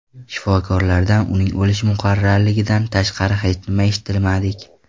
Shifokorlardan uning o‘lishi muqarrarligidan tashqari hech nima eshitmadik.